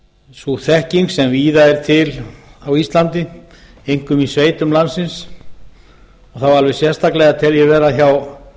sú þekking sem víða er til á íslandi einkum í sveitum landsins og þá alveg sérstaklega tel ég vera hjá